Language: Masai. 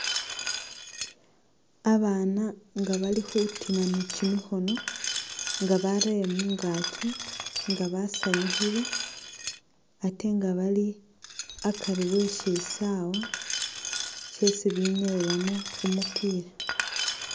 Abana nga bali khutima ni kyimikhono nga barele mungakyi nga basanyukhile atenga bali akari we shisaawa shesi binyayilamo kumupila.